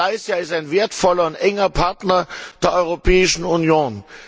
Malaysia ist ein wertvoller und enger Partner der Europäischen Union.